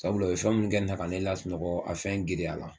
Sabula u ye fɛn minnu kɛ ne la ka ne sunɔgɔ a fɛn giriya la